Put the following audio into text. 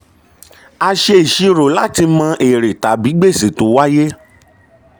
a ṣe ìṣirò láti mọ èrè tàbí gbèsè tó wáyé.